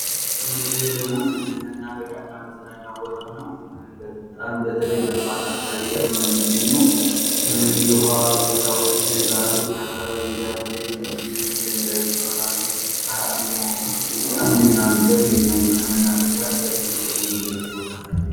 ይህ ደግሞ መናፈሻ እና መዝናኛ ቦታ ነው ። በጣም በተለይ በጥዋት አካባቢ ላይ ሁኖ ነው ሚገኘው ። የውሃ ቦታዎች ባህሮች አካባቢ ዳር ላይ ደንጋዮች ይኖራሉ ፀሐዩአን እየሞቁ በጣም ሚዝናኑበት መዝናኛ የሆነ መናፈሻ ለቱሪስት መስኅብ የሚያገለግል ቦታ ነው ።